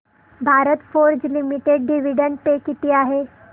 Bharat Forge Limited dividend pay किती आहे